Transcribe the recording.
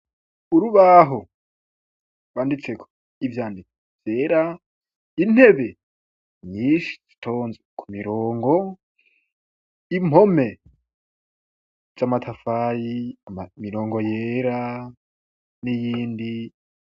Urubaho banditse ivyanevyera intebe nyinshi stons ku mirongo impome j'amatafayi mirongo yera n'iyindi.